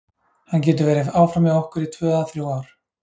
Hann getur verið áfram hjá okkur í tvö eða þrjú ár.